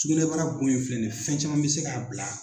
Sugunɛbara bon in filɛ nin ye fɛn caman bɛ se ka bila